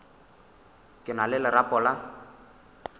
ke na le lerapo la